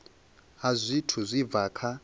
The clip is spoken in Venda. ha zwithu zwi bva kha